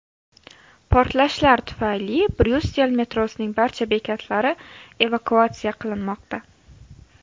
Portlashlar tufayli Bryussel metrosining barcha bekatlari evakuatsiya qilinmoqda.